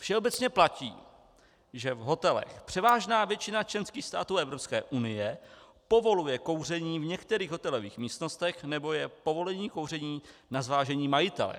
Všeobecně platí, že v hotelech převážná většina členských států EU povoluje kouření v některých hotelových místnostech nebo je povolení kouření na zvážení majitele.